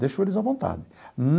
Deixo eles à vontade.